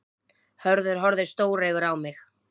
Hörður horfði stóreygur á mig.